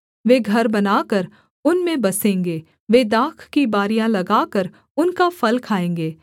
वे घर बनाकर उनमें बसेंगे वे दाख की बारियाँ लगाकर उनका फल खाएँगे